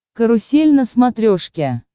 карусель на смотрешке